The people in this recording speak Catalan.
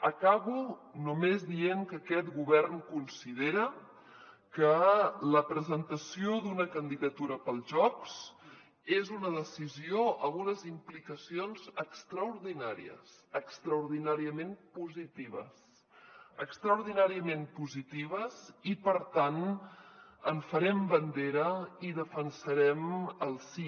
acabo només dient que aquest govern considera que la presentació d’una candidatura per als jocs és una decisió amb unes implicacions extraordinàries extraordinàriament positives extraordinàriament positives i per tant en farem bandera i defensarem el sí